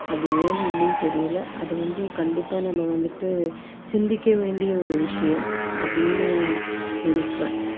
கட்டணம் அப்படிங்குறது அதாவது சம்பளம் அப்படிங்கறது குறைவாதான் கொடுத்துட்டு இருக்காங்க அது ஏன்னு இன்னும் தெரியல அது வந்து கண்டிப்பா நம்ம வந்துட்டு சிந்திக்க வேண்டிய ஒரு விஷயம் அப்படீன்னு நினைக்கறேன்